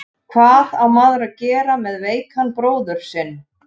Hvað á maður að gera með veikan bróður sinn?